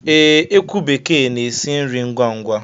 Ee, ekwu bekee na-esi nri ngwá ngwá